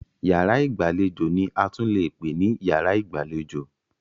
Yàrá ìgbàlejò ni a tún leè pè ní yàrá ìgbàlejò.